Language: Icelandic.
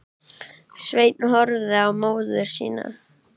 Sveinn horfði á móður sína.